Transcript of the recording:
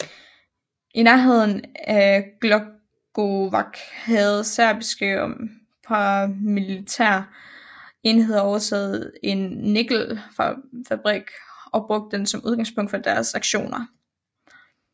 I nærheden af Glogovac havde serbiske og paramilitære enheder overtaget en nikkelfabrik og brugt den som udgangspunkt for deres aktioner